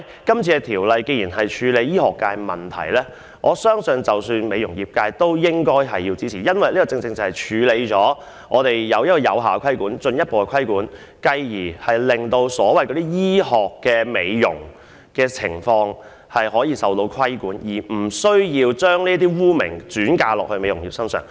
既然《條例草案》處理的是醫學界的問題，我相信美容業界也應予以支持，因為政府藉此能有效及進一步對醫療機構實行規管，繼而令所謂的醫學美容服務也能夠受到規管，相關的污名因而不會再加諸於美容業界。